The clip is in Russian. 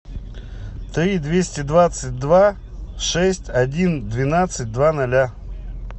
три двести двадцать два шесть один двенадцать два ноля